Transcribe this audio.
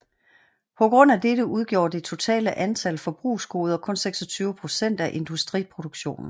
På grund af dette udgjorde det totale antal forbrugsgoder kun 26 procent af industriproduktionen